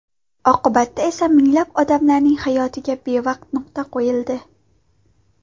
Oqibatda esa minglab odamlarning hayotiga bevaqt nuqta qo‘yildi.